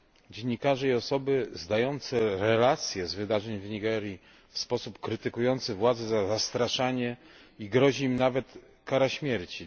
Dziennikarze i osoby zdające relacje z wydarzeń w Nigerii w sposób krytykujący władze są zastraszane i grozi im nawet kara śmierci.